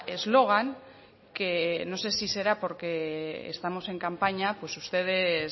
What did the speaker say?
eslogan que no sé si será porque estamos en campaña pues ustedes